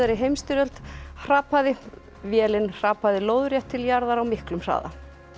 heimsstyrjöld hrapaði vélin hrapaði lóðrétt til jarðar á miklum hraða